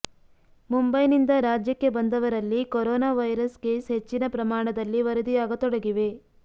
ಮುಂಬೈನಿಂದ ರಾಜ್ಯಕ್ಕೆ ಬಂದವರಲ್ಲಿ corona virus case ಹೆಚ್ಚಿನ ಪ್ರಮಾಣದಲ್ಲಿ ವರದಿಯಾಗತೊಡಗಿವೆ